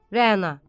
Rəana.